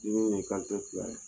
Dimi ye fila ye